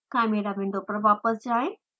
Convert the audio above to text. chimera window पर वापस जाएँ